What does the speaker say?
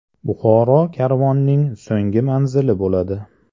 Buxoro karvonning so‘nggi manzili bo‘ladi.